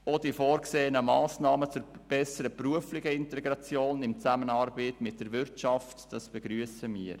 Auch die vorgesehenen Massnahmen zur besseren beruflichen Integration in Zusammenarbeit mit der Wirtschaft begrüssen wir.